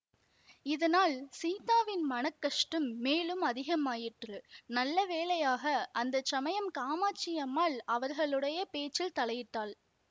இதனால் சீதாவின் மன கஷ்டம் மேலும் அதிகமாயிற்று நல்ல வேளையாக அந்த சமயம் காமாட்சி அம்மாள் அவர்களுடைய பேச்சில் தலையிட்டாள்